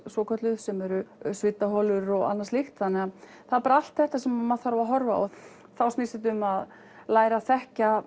svokölluð sem eru svitaholur og annað slíkt það er bara allt þetta sem maður þarf að horfa á og þá snýst þetta um að læra að þekkja